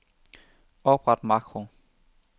Opret makro.